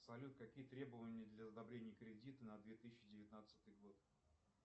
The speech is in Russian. салют какие требования для одобрения кредита на две тысячи девятнадцатый год